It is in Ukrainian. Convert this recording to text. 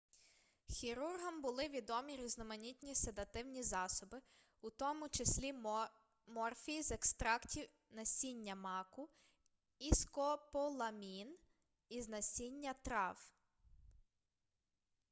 хірургам були відомі різноманітні седативні засоби у тому числі морфій з екстрактів насіння маку і скополамін із насіння трав